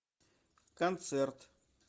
концерт